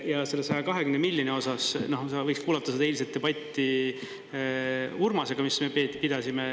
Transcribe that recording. Ja selle 120 miljoni osas sa võiks kuulata seda eilset debatti Urmasega, mis me pidasime.